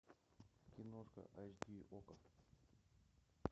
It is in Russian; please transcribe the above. киношка айч ди окко